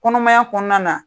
Kɔnɔmaya kɔnɔna na